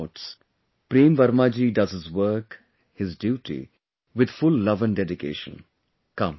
As his name denotes, Prem Verma ji does his work, his duty, with full love and dedication